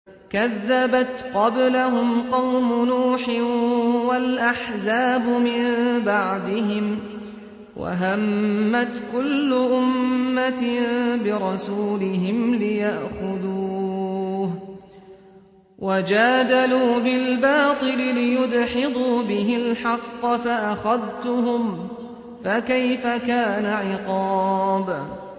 كَذَّبَتْ قَبْلَهُمْ قَوْمُ نُوحٍ وَالْأَحْزَابُ مِن بَعْدِهِمْ ۖ وَهَمَّتْ كُلُّ أُمَّةٍ بِرَسُولِهِمْ لِيَأْخُذُوهُ ۖ وَجَادَلُوا بِالْبَاطِلِ لِيُدْحِضُوا بِهِ الْحَقَّ فَأَخَذْتُهُمْ ۖ فَكَيْفَ كَانَ عِقَابِ